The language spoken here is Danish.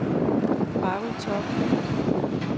Harry Torp